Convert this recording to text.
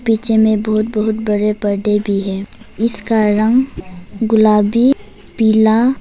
Picture में बहुत बहुत बड़े बड़े परदे भी है। इसका रंग गुलाबी पीला --